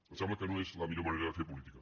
em sembla que no és la millor manera de fer política